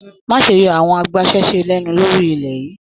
Má ṣe yọ àwọn agbasẹ́se lẹnu lórí ilẹ yìí!